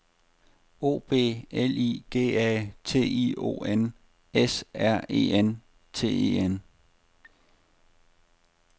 O B L I G A T I O N S R E N T E N